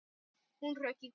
Hún hrökk í kút.